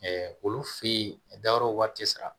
olu fe ye a dayɔrɔ wari te sara